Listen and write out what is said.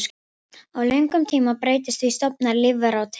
Á löngum tíma breytast því stofnar lífvera og tegundir.